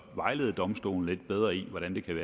vejlede domstolene lidt bedre i hvordan det kan